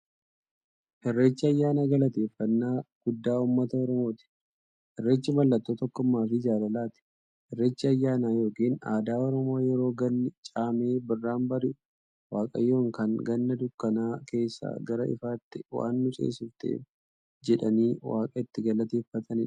Irreechi ayyaana galateeffnnaa guddaa ummata oromooti. Irreechi mallattoo tokkummaafi jaalalaati. Irreechi ayyaana yookiin aadaa Oromoo yeroo ganni caamee birraan bari'u, waaqayyoon kan Ganna dukkana keessaa gara ifaatti waan nu ceesifteef jedhanii waaqa itti galateeffataniidha.